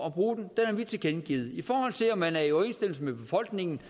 at bruge den det har vi tilkendegivet i forhold til om man er i overensstemmelse med befolkningen